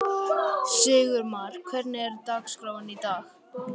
Sigurmar, hvernig er dagskráin í dag?